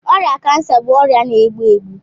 Ọrịa kansa bụ ọrịa na-egbu egbu.